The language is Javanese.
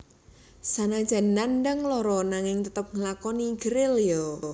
Sanajan nandhang lara nanging tetep nglakoni gerilya